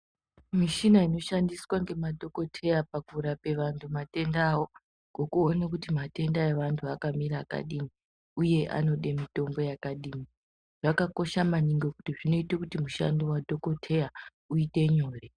Mishina inoshandiswa ngemadhogoteya pakurape vantu matenda avo ngokuone kuti matenda evanhu akamira akadini uye anode mitombo yakadini. Zvakakosha maningi kuti zvinoite kuti mushando wadhogoteya uite nyore.